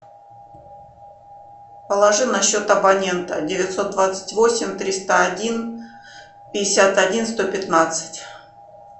положи на счет абонента девятьсот двадцать восемь триста один пятьдесят один сто пятнадцать